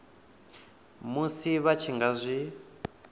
musi vha tshi nga zwi